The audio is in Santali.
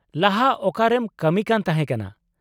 ᱞᱟᱦᱟ ᱚᱠᱟᱨᱮᱢ ᱠᱟᱹᱢᱤ ᱠᱟᱱ ᱛᱟᱦᱮᱸ ᱠᱟᱱᱟ ?